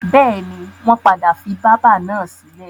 Bẹ́ẹ̀ni, wọ́n padà fi bábà náà sílẹ̀.